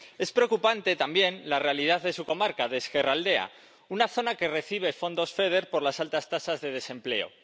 Es preocupante, también, la realidad de su comarca, de Ezkerraldea, una zona que recibe fondos FEDER por las altas tasas de desempleo.